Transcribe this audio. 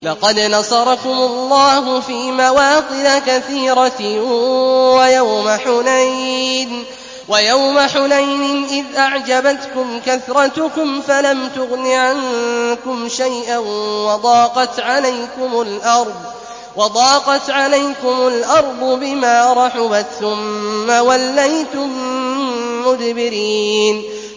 لَقَدْ نَصَرَكُمُ اللَّهُ فِي مَوَاطِنَ كَثِيرَةٍ ۙ وَيَوْمَ حُنَيْنٍ ۙ إِذْ أَعْجَبَتْكُمْ كَثْرَتُكُمْ فَلَمْ تُغْنِ عَنكُمْ شَيْئًا وَضَاقَتْ عَلَيْكُمُ الْأَرْضُ بِمَا رَحُبَتْ ثُمَّ وَلَّيْتُم مُّدْبِرِينَ